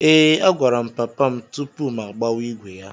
Ee, agwara m papa m tupu m agbawa ígwè ya.